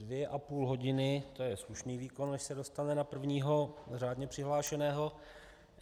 Dvě a půl hodiny, to je slušný výkon, než se dostane na prvního řádně přihlášeného.